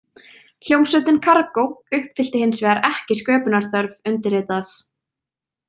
Hljómsveitin Kargó uppfyllti hins vegar ekki sköpunarþörf undirritaðs.